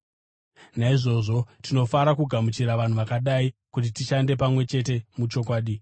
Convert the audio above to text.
Naizvozvo tinofanira kugamuchira vanhu vakadai kuti tishande pamwe chete muchokwadi.